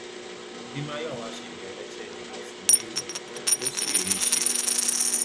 bí mayowa ṣe bẹrẹ iṣẹ jìbìtì yìí rèé ó sì rí i ṣe